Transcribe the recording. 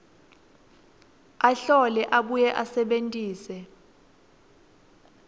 ahlole abuye asebentise